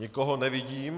Nikoho nevidím.